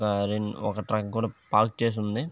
ఒక టాక్ ను పార్క్ చేసి ఉంది.